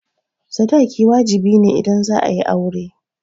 Sadaki wajibi ne idan za'a yi aure.